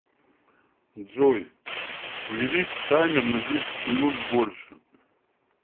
джой увеличь таймер на десять минут больше